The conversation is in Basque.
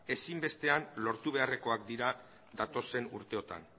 ezinbestean lortu beharrekoak dira datozen urteotan